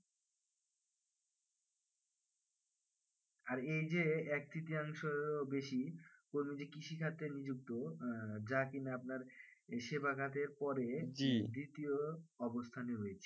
আরে এই যে এক তৃতীয়াংশ বেশি কোনো যে কৃষি কাজে নিযুক্ত আহ যা কিনা আপনার সেবাগাতের পরে দ্বিতীয় অবস্থানে রয়েছে